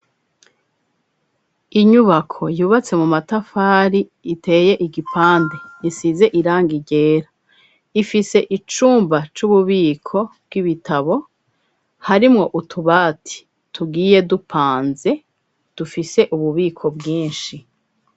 Inyubako, yubatse mu matafari, iteye igipande, isize irangi ryera; ifise icumba c'ububiko, bw'ibitabo; harimwo utubati, tugiye dupanze, dufise ububiko bwinshi.